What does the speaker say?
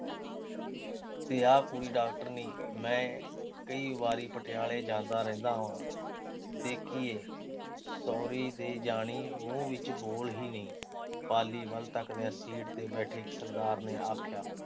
ਤੇ ਆਹ ਕੋਈ ਡਾਕਟਰਨੀ। ਮੈਂ ਕਈ ਵਾਰੀ ਪਟਿਆਲੇ ਜਾਂਦਾ ਰਹਿੰਦਾ ਹਾਂ। ਦੇਖੀਏ। ਸਹੁਰੀ ਦੇ ਜਾਣੀ। ਮੂੰਹ ਵਿੱਚ ਬੋਲ ਹੀ ਨੀਂ। ਪਾਲੀ ਵੱਲ ਤੱਕਦਿਆਂ ਸੀਟ ਤੇ ਬੈਠੇ ਸਰਦਾਰ ਨੇ ਆਖਿਆ।